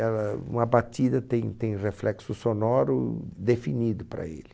Ela uma batida tem tem reflexo sonoro definido para ele.